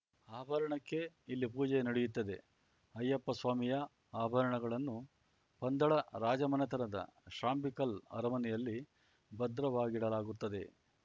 ಆಭರಣಕ್ಕೇ ಇಲ್ಲಿ ಪೂಜೆ ನಡೆಯುತ್ತದೆ ಅಯ್ಯಪ್ಪ ಸ್ವಾಮಿಯ ಆಭರಣಗಳನ್ನು ಪಂದಳ ರಾಜಮನೆತದ ಶ್ರಾಂಬಿಕಲ್‌ ಅರಮನೆಯಲ್ಲಿ ಭದ್ರವಾಗಿಡಲಾಗುತ್ತದೆ